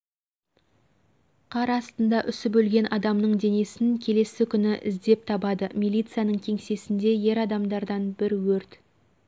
қар астында үсіп өлген адамның денесін келесі күні іздеп табады милицияның кеңсесінде ер адамдардан бір өрт